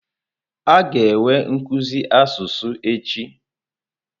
A ga-enwe nkuzi asụsụ echi.